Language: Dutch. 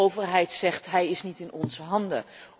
De overheid zegt hij is niet in onze handen.